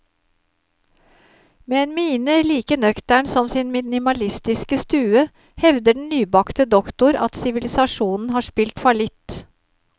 Med en mine like nøktern som sin minimalistiske stue, hevder den nybakte doktor at sivilisasjonen har spilt fallitt.